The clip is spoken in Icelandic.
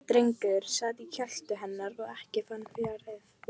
Drengur sat í kjöltu hennar og ekkinn fjaraði út.